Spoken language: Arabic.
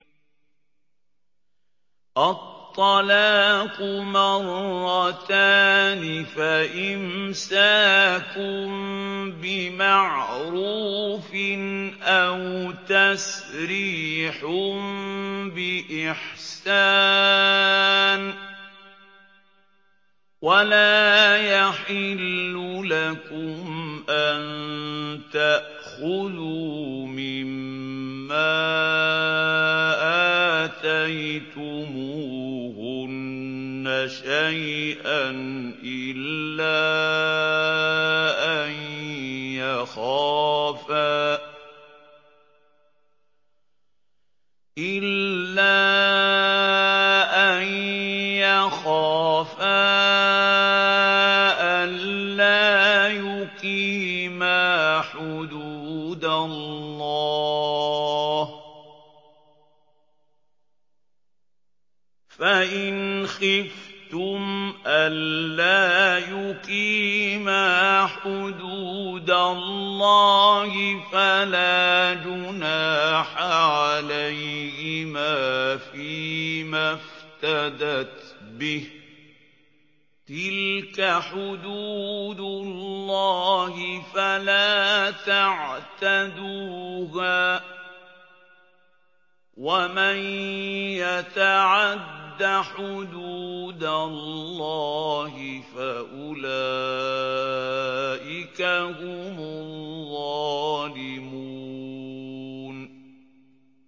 الطَّلَاقُ مَرَّتَانِ ۖ فَإِمْسَاكٌ بِمَعْرُوفٍ أَوْ تَسْرِيحٌ بِإِحْسَانٍ ۗ وَلَا يَحِلُّ لَكُمْ أَن تَأْخُذُوا مِمَّا آتَيْتُمُوهُنَّ شَيْئًا إِلَّا أَن يَخَافَا أَلَّا يُقِيمَا حُدُودَ اللَّهِ ۖ فَإِنْ خِفْتُمْ أَلَّا يُقِيمَا حُدُودَ اللَّهِ فَلَا جُنَاحَ عَلَيْهِمَا فِيمَا افْتَدَتْ بِهِ ۗ تِلْكَ حُدُودُ اللَّهِ فَلَا تَعْتَدُوهَا ۚ وَمَن يَتَعَدَّ حُدُودَ اللَّهِ فَأُولَٰئِكَ هُمُ الظَّالِمُونَ